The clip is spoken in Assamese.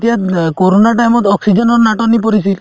এতিয়া অ কৰোণাৰ time ত oxygen ৰ নাটনি পৰিছিল